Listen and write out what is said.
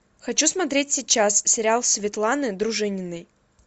хочу смотреть сейчас сериал светланы дружининой